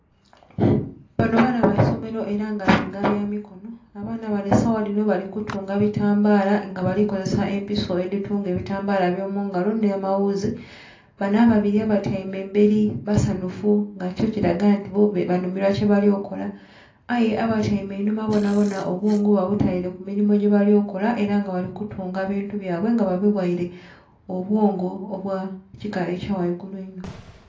Banho baana baisomero era nga mulimu byamikonho. Abaana banho saghadhinho balikutunga batambala nga balikozesa empiso edhitunga ebitambala ebyomungalo nhamaghuzi banho ababiri batyeime eberi basanhufu nga kyo kiraga nti banhumirwa kyebalikola aye abetweime enhuma bonabona obwongo babuteire kumirimo gyebali kola era nga balikutunga bintu byabwe nga babighere obwongo obwekika ekyagheigulu inho